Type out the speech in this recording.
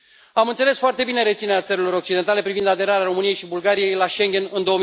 Am înțeles foarte bine reținerea țărilor occidentale privind aderarea României și a Bulgariei la Schengen în